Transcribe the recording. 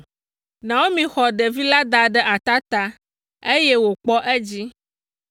Naomi xɔ ɖevi la da ɖe atata, eye wòkpɔ edzi.